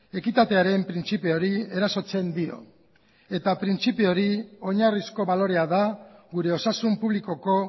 ekitatearen printzipioari erasotzen dio eta printzipio hori oinarrizko balorea da gure osasun publikoko